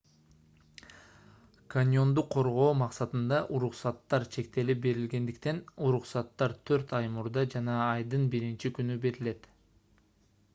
каньонду коргоо максатында уруксаттар чектелип берилгендиктен уруксаттар төрт ай мурда жана айдын биринчи күнү берилет